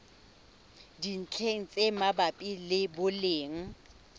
dintlheng tse mabapi le boleng